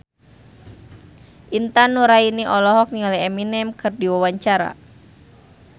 Intan Nuraini olohok ningali Eminem keur diwawancara